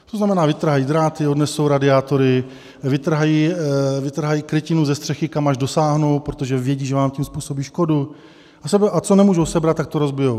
To znamená, vytrhají dráty, odnesou radiátory, vytrhají krytinu ze střechy, kam až dosáhnou, protože vědí, že vám tím způsobí škodu, a co nemůžou sebrat, tak to rozbijí.